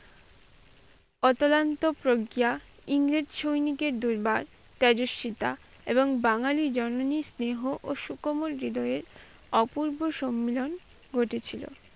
অতলান্ত প্রক্রিয়া ইংরেজ সৈনিকের দুইবার তেরিস সীতা এবং বাঙ্গালী journalist স্নেহ সুকোমল বিনয়ের অপূর্ব সম্মেলন ঘটেছিল।